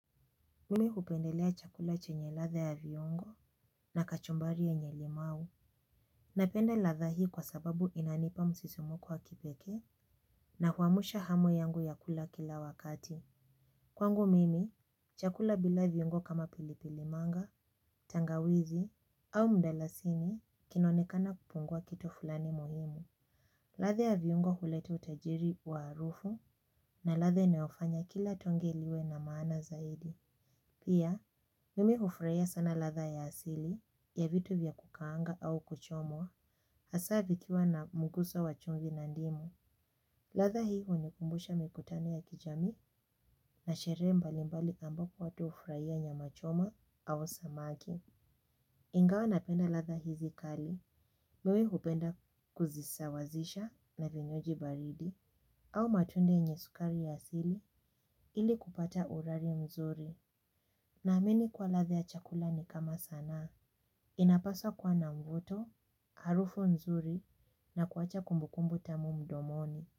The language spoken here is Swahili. Mimi hupendelea chakula chenye ladha ya viongo na kachumbari yenye limau. Napenda ladha hii kwa sababu inanipa msisimko wa kipeke na huamusha hamu yangu ya kula kila wakati. Kwangu mimi, chakula bila viongo kama pilipilimanga, tangawizi au mdalasini kinaonekana kupungua kitu fulani moyoni. Ladha ya viongo hulete utajiri wa harufu na ladha inayofanya kila tonge liwe na maana zaidi. Pia, mimi hufurahia sana ladha ya asili ya vitu vya kukaanga au kuchomwa, hasa vikiwa na mguso wachungi na ndimu. Ladha hii hunikumbusha mikutao ya kijamii na shere mbalimbali ambako watu hufurahia nyama choma au samaki. Ingawa napenda ladha hizi kali, mimi hupenda kuzisawazisha na vinywaji baridi au matunda nyesukari ya asili ili kupata urari mzuri. Na amini kwa ladha ya chakula ni kama sanaa. Inapaswa kuwa na mvuto, harufu nzuri na kuwacha kumbukumbu tamu mdomoni.